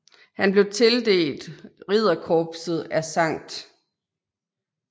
Han blev tildelt ridderkorset af Skt